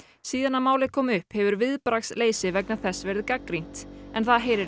síðan málið kom upp hefur viðbragðsleysi vegna þess verið gagnrýnt en það heyrir